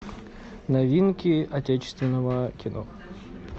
новинки отечественного кино